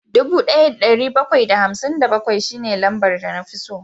Dubu daya da dari bakwai da hamsin da bakwai shine lambar da na fi so